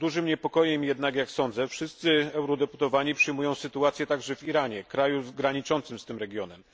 Z dużym niepokojem jednak jak sądzę wszyscy eurodeputowani przyjmują sytuację także w Iranie, kraju graniczącym z tym regionem.